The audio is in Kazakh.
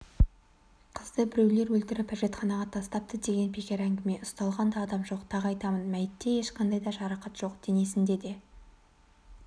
қызды біреулер өлтіріп әжетханаға тастапты деген бекер әңгіме ұсталған да адам жоқ тағы айтамын мәйітте ешқандай да жарақат жоқ денесінде де